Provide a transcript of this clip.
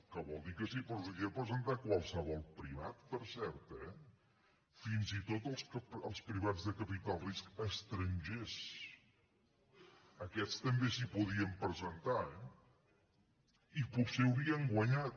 que vol dir que s’hi podia presentar qualsevol privat per cert eh fins i tot els privats de capital de risc estrangers aquests també s’hi podien presentar i potser haurien guanyat